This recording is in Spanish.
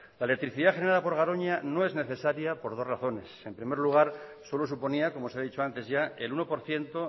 la electricidad genera por garoña no es necesaria por dos razones en primer lugar solo suponía como se ha dicho antes ya el uno por ciento